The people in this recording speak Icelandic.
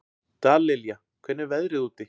Dallilja, hvernig er veðrið úti?